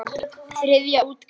Þriðja útgáfa.